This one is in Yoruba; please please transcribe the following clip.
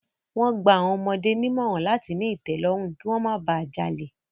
Wọ́n gba àwọn ọmọdé nímọ̀ràn láti ní ìtẹ́lọ́rùn, kí wọ́n má ba jalè.